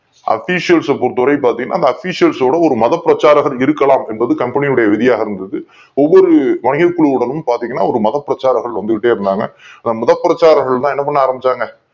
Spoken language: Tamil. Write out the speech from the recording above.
அபிசியல்சை பொறுத்தவரை பாத்தீங்கன்னா அபிஷியல் ஓட ஒரு மத பிரச்சாரகர்கள் இருக்கலாம் அப்படிங்கறது கம்பெனியோட விதிமுறையா இருந்தது ஒவ்வொரு குழுவுடனும் பாத்தீங்கன்னா ஒரு மத பிரச்சாரர்கள் வந்துகிட்டே இருந்தாங்க அந்த மத பிரச்சாரகர்கள் தான் என்ன பண்ண ஆரம்பிச்சாங்க